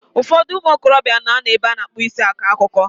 Ụfọdụ ụmụ okorobịa na ano n'ebe a na-akpụ isi akọ akụkọ.